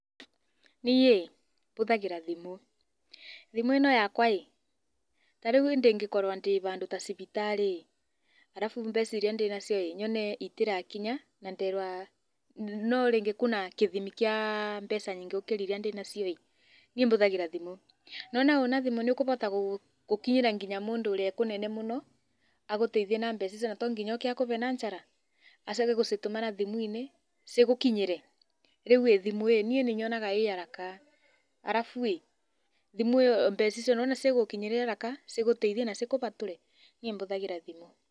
Niĩ ĩĩ mbũthagĩra thimũ, thimũ ĩno yakwa ĩĩ ta rĩu niĩ ndĩngĩkorwa ndĩ bandu ta cibitari arabu mbeca irĩa ndĩnacio ĩĩ nyone itĩrakinya na nderwa no rĩngĩ kũna kĩthimi kĩa mbeca nyingĩ gũkĩra iria ndĩ nacio niĩ mbũthagĩra thimũ, nĩ wona ũna thimũ niũkũbota gũkinyĩra nginya mũndũ ũrĩa e kũnene mũno agũteithie na mbeca icio na to nginya ooke akube na njara acoke egũcitũmana thimũ-inĩ cigũkinyĩre rĩu ĩĩ thimũ ĩĩ niĩ nĩnyonaga ĩ haraka arabu ĩĩ mbeca icio cigũgũkinyĩra haraka, cigíũteithie na cikũbatũre. Niĩ mbũthagĩra thimũ